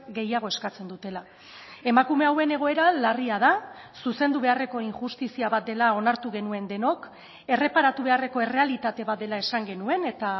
gehiago eskatzen dutela emakume hauen egoera larria da zuzendu beharreko injustizia bat dela onartu genuen denok erreparatu beharreko errealitate bat dela esan genuen eta